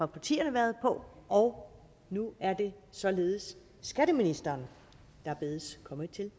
partierne været på og nu er det således skatteministeren der bedes komme til